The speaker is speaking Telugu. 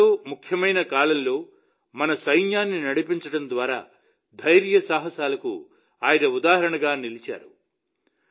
చరిత్రలో ముఖ్యమైన కాలంలో మన సైన్యాన్ని నడిపించడం ద్వారా ధైర్య సాహసాలకు ఆయన ఉదాహరణగా నిలిచారు